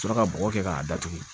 Sɔrɔ ka bɔgɔ kɛ k'a datugu